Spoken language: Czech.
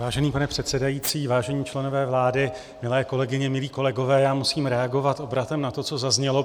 Vážený pane předsedající, vážení členové vlády, milé kolegyně, milí kolegové, já musím reagovat obratem na to, co zaznělo.